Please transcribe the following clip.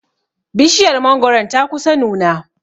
Bishiyar mangoron ta kusa nuna.